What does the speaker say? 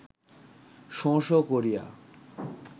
শোঁ শোঁ করিয়া